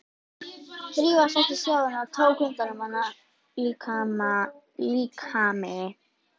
Drífa settist hjá henni og tók utan um hana, líkami